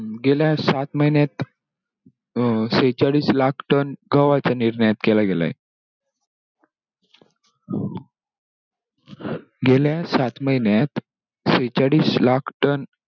गेल्या सात महिन्यात अं सेहेचाळीस लाख ton गव्हाचं निर्यात केला गेलाय. गेल्या सात महिन्यात सेहेचाळीस लाख ton.